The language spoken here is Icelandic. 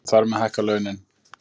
Þar með hækka launin